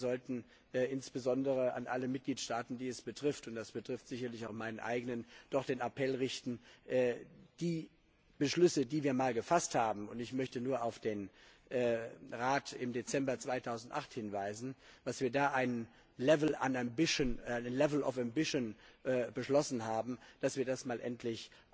Wir sollten insbesondere an alle Mitgliedstaaten, die es betrifft und das betrifft sicherlich auch meinen eigenen doch den Appell richten, die Beschlüsse, die wir mal gefasst haben und ich möchte da nur auf den Rat vom Dezember 2008 hinweisen, wo wir einen level of ambition beschlossen haben dass wir die mal endlich